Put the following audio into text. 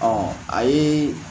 Ɔ a ye